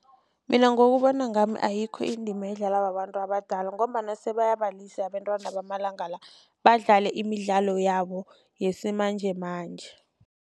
Mina ngokubona kwami ayikho indima edlalwa babantu abadala ngombana sebayabalise abantwana bamalanga la badlale imidlalo yabo yesimanjemanje.